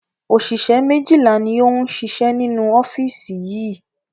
Òṣìṣẹ́ méjìlá ni ó ń ṣiṣẹ́ nínú ọ́fíìsì yìí